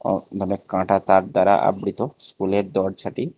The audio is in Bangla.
ও অনেক কাঁটাতার দ্বারা আবৃত স্কুলের দরজাটি।